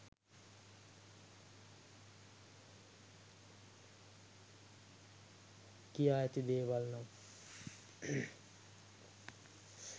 කියා ඇති දේවල් නම්